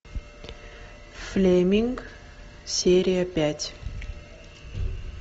флеминг серия пять